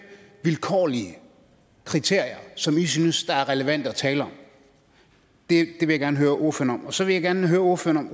vilkårlige kriterier som i synes er relevante at tale om det vil jeg gerne høre ordføreren om så vil jeg gerne høre ordføreren